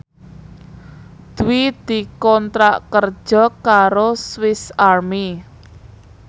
Dwi dikontrak kerja karo Swis Army